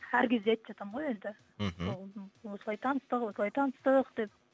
әр кезде айтып жатамын ғой енді мхм осылай таныстық осылай таныстық деп